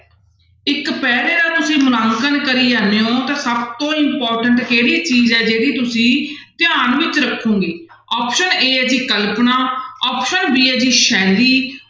ਇੱਕ ਪੈਰ੍ਹੇ ਦਾ ਤੁਸੀਂ ਮੁਲਾਂਕਣ ਕਰੀ ਜਾਂਦੇ ਹੋ ਤਾਂ ਸਭ ਤੋਂ important ਕਿਹੜੀ ਚੀਜ਼ ਹੈ ਜਿਹੜੀ ਤੁਸੀਂ ਧਿਆਨ ਵਿੱਚ ਰੱਖੋਗੇ option a ਹੈ ਜੀ ਕਲਪਨਾ option b ਹੈ ਜੀ ਸ਼ੈਲੀ